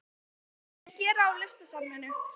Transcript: Það er alltaf svo mikið að gera á Listasafninu.